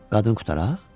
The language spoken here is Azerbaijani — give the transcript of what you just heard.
Qadın qutaraq?